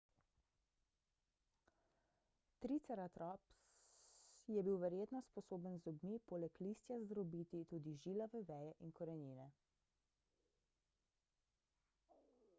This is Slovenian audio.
triceratops je bil verjetno sposoben z zobmi poleg listja zdrobiti tudi žilave veje in korenine